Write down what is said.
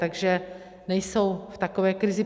Takže nejsou v takové krizi.